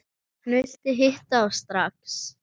Hann vildi hitta þá strax.